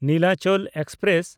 Nilachal express